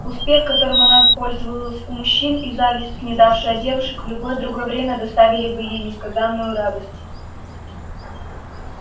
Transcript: успех которым она пользовалась у мужчин и зависть снедавшая девушек в любое другое время доставили бы ей несказанную радость